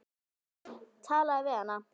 Talaðu við hana.